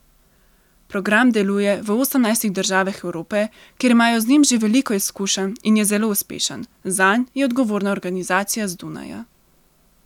Program deluje v osemnajstih državah Evrope, kjer imajo z njim že veliko izkušenj in je zelo uspešen, zanj je odgovorna organizacija z Dunaja.